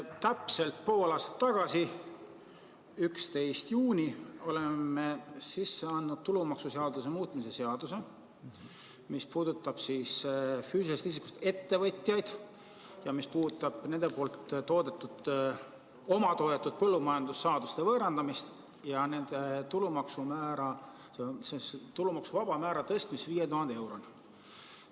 Täpselt pool aastat tagasi, 11. juunil oleme sisse andnud tulumaksuseaduse muutmise seaduse eelnõu, mis puudutab füüsilisest isikust ettevõtjaid, nende omatoodetud põllumajandussaaduste võõrandamist ja tulumaksuvaba määra tõstmist 5000 euroni.